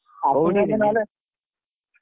କୋଉଠି କି।